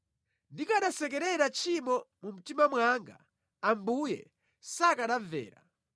Ndikanasekerera tchimo mu mtima mwanga Ambuye sakanamvera;